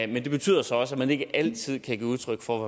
men det betyder så også at man ikke altid kan give udtryk for